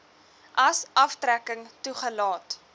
as aftrekking toegelaat